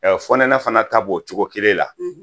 Ɛ fonɛnɛ fana ta b'o cogo kelen na